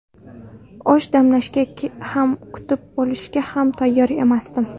Osh damlashga ham, kutib olishga ham tayyor emasdim.